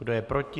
Kdo je proti?